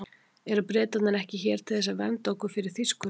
Eru Bretarnir ekki hér til þess að vernda okkur fyrir Þýskurunum?